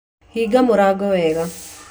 Hinga mũrango wega.